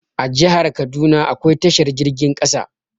A jahar kaduna akwai tashar jirgin ƙasa